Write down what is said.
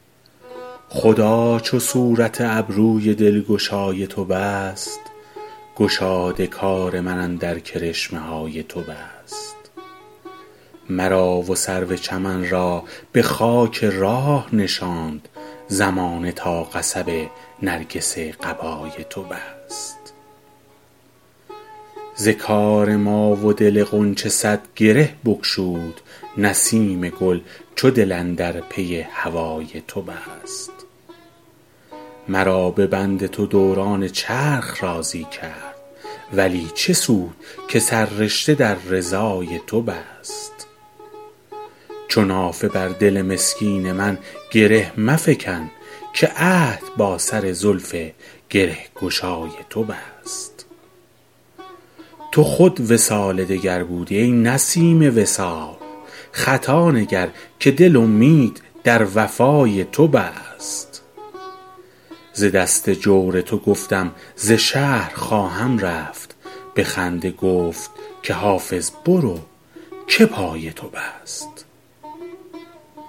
خدا چو صورت ابروی دلگشای تو بست گشاد کار من اندر کرشمه های تو بست مرا و سرو چمن را به خاک راه نشاند زمانه تا قصب نرگس قبای تو بست ز کار ما و دل غنچه صد گره بگشود نسیم گل چو دل اندر پی هوای تو بست مرا به بند تو دوران چرخ راضی کرد ولی چه سود که سررشته در رضای تو بست چو نافه بر دل مسکین من گره مفکن که عهد با سر زلف گره گشای تو بست تو خود وصال دگر بودی ای نسیم وصال خطا نگر که دل امید در وفای تو بست ز دست جور تو گفتم ز شهر خواهم رفت به خنده گفت که حافظ برو که پای تو بست